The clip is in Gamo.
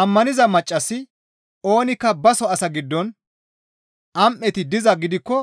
Ammaniza maccassi oonikka baso asaa giddon am7eti dizaa gidikko